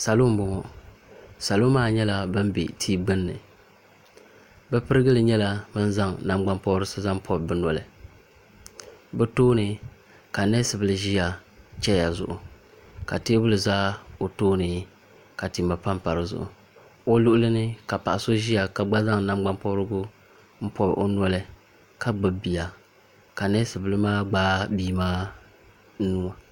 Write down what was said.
salo n bɔŋɔ salo maa nyɛla bin bɛ tia gbunni bi pirigili nyɛla bin zaŋ nangbani pobirisi pobi bi noli bi tooni ka neesi bili ʒiya chɛya zuɣu ka teebuli ʒɛ o tooni ka tima panpa dizuɣu o luɣuli ni ka paɣa so ʒiya ka gba niŋ nagbani pobirigu n pobi o noli ka gbubi bia ka neesi bili maa gbaai bia maa nuwa